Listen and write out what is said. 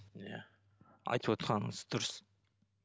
иә айтып отырғаныңыз дұрыс